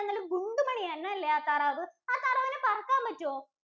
ഗുണ്ടുമണിയാണല്ലേ ആഹ് താറാവ്, ആഹ് താറാവിന് പറക്കാന്‍ പറ്റോ?